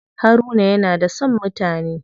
Haruna yana da son mutane.